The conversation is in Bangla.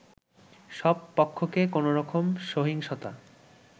সব পক্ষকে কোনোরকম সহিংসতা